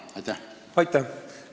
Aitäh!